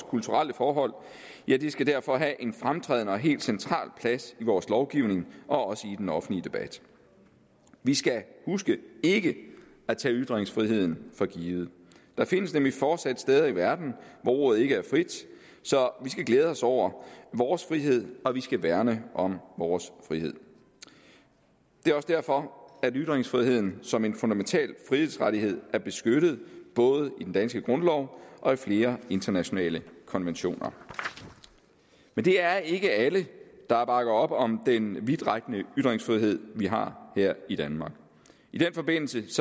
kulturelle forhold skal derfor have en fremtrædende og helt central plads i vores lovgivning og også i den offentlige debat vi skal huske ikke at tage ytringsfriheden for givet der findes nemlig fortsat steder i verden hvor ordet ikke er frit så vi skal glæde os over vores frihed og vi skal værne om vores frihed det er også derfor at ytringsfriheden som en fundamental frihedsrettighed er beskyttet både i den danske grundlov og i flere internationale konventioner men det er ikke alle der bakker op om den vidtrækkende ytringsfrihed vi har her i danmark i den forbindelse